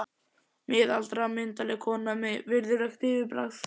Miðaldra, myndarleg kona með virðulegt yfirbragð.